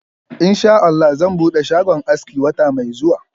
Insha Allah zan bude shagon aski wata mai zuwa.